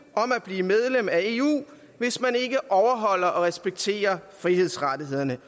om at blive medlem af eu hvis man ikke overholder og respekterer frihedsrettighederne